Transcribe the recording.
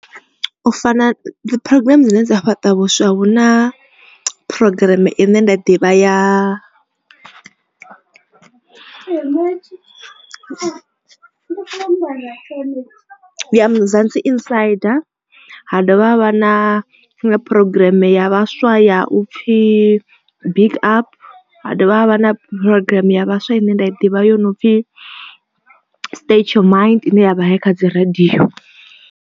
U fana dzi program dzine dza fhaṱa vhuswa hu na programm ine nda ḓivha ya Muzansi insider ha dovha ha vha na programm ya vhaswa ya u pfhi big up ha dovha havha na programm ya vhaswa ine nda i ḓivha yo no pfhi state your mind ine ya vha i kha dzi radio.